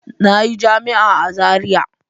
Na yi jami’a a Zaria.